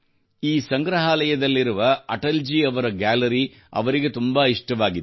ಈ ಸಂಗ್ರಹಾಲಯದಲ್ಲಿರುವ ಅಟಲ್ ಜಿ ಅವರ ಗ್ಯಾಲರಿ ಅವರಿಗೆ ತುಂಬಾ ಇಷ್ಟವಾಗಿತ್ತು